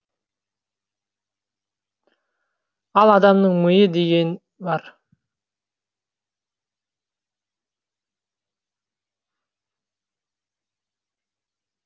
ал адамның миы деген бар